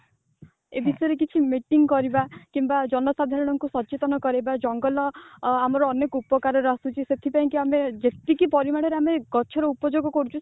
ଏ ବିଷୟରେ ଗୋଟେ meeting କରିବା କିମ୍ବା ଜନସାଧାରଣଙ୍କୁ ସଚେତନ କରେଇବା ଜଙ୍ଗଲ ଅ ଆମର ଅନେକ ଉପକାରରେ ଆସୁଛି ସେଥିପାଇଁ କି ଆମେ ଯେତିକି ପରିମାଣରେ ଆମେ ଗଛର ଉପଯୋଗ କରୁଚୁ